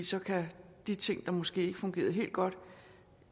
så kan de ting der måske ikke fungerede helt godt